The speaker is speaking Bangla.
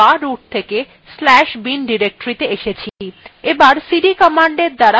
তারপর আমরা/বা root থেকে/bin directoryত়ে এসেছি